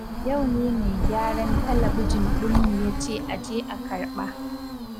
Yau ne mai gyaran talabijin ɗinmu yace aje a karɓa.